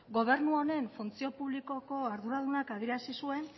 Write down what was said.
gobernu honen funtzio publikoko arduradunak adierazi zuen